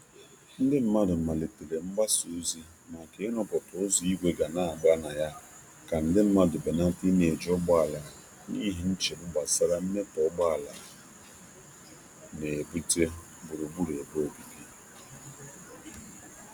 um Ndị mmadụ malitere mgbasa ozi maka iruputa ụzọ igwe ga n'agba na ya ka nde mmandu um benata i n'eji n'eji ụgbọala n'ihi nchegbu gbasara mmetọ ugboala nebute gburugburu ebe obibi.